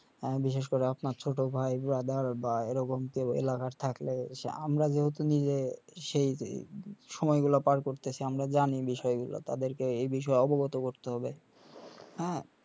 বিশেষ করে আপনার ছোট ভাই বা এরকম কেও এলাকার থাকলে আমরা যেরকম ইয়ে সেই সময়গুলা পার করতেসি আমরা জানি বিষয়গুলা তাদেরকে এই বিষয়ে অবগত করতে হবে হা